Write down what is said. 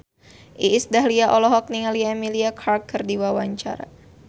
Iis Dahlia olohok ningali Emilia Clarke keur diwawancara